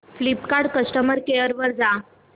Flipkart customer care वर जा